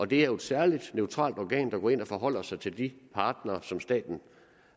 det er jo et særligt neutralt organ der går ind og forholder sig til de partnere som staten